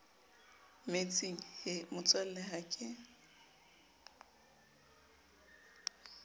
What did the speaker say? metsing he motswalle ha ke